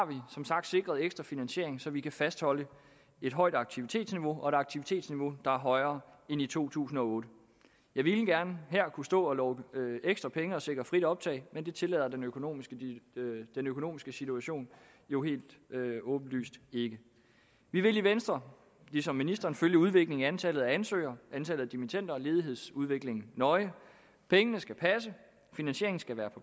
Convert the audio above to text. som sagt sikret ekstra finansiering så vi kan fastholde et højt aktivitetsniveau og et aktivitetsniveau der er højere end i to tusind og otte jeg ville gerne her kunne stå og love ekstra penge og sikre frit optag men det tillader den økonomiske den økonomiske situation jo helt åbenlyst ikke vi vil i venstre ligesom ministeren følge udviklingen i antallet af ansøgere antal dimittender og ledighedsudviklingen nøje pengene skal passe og finansieringen skal være